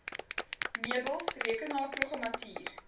meubels rekenaarprogrammatuur